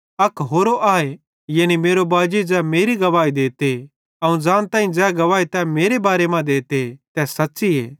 अक होरो आए यानी मेरो बाजी ज़ै मेरी गवाही देते ते अवं ज़ानताईं ज़ै गवाही तै मेरे बारे मां देते तै सच़्च़ीए